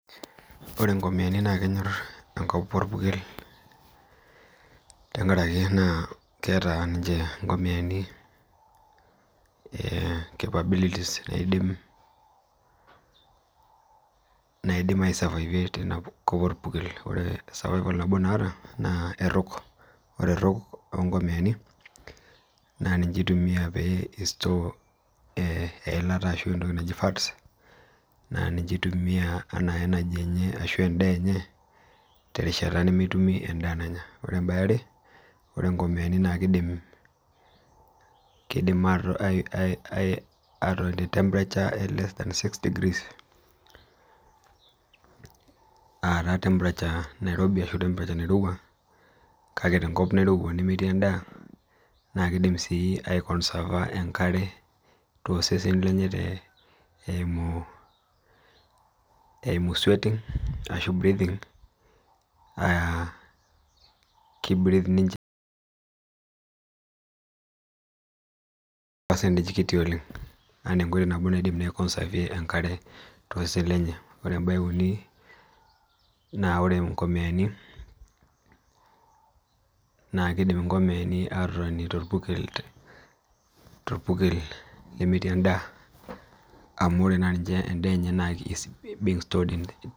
Ore inkomiyani naa kenyor engop orpurkel tenkaraki keeta ninje inkomiyani inkidimat naidim atamanyisho teina kop orpurkel Ore erhug oonkomiyani naa ninje itumia ashumie eilata naa ninje eitumia enaa en'daa enye terishata nemeeta en'daa nanya Ore eniare naa kiidim atotoni te temperatures less than 6 degrees aa taa enairobi ashu enairowua kake tenkop nairowua nemtii en'daa nA keidim sii aikosava enkare tooseseni lenye eimu eyara enkima ashu eyang'ita aa keeping ninje tesajata kitu oleng Ore eniruni naa keidim ninje atotoni torpukel lemetii en'daa amu ore naa ninche en'daa enye